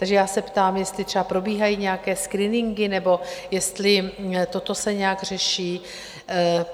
Takže já se ptám, jestli třeba probíhají nějaké screeningy nebo jestli toto se nějak řeší?